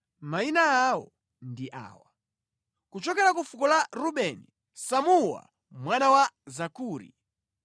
Mayina awo ndi awa: kuchokera ku fuko la Rubeni, Samuwa mwana wa Zakuri;